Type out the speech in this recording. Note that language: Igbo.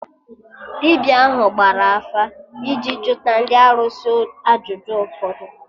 Dibịa ahụ gbara afa iji juta ndị arụsị ajụjụ ụfọdụ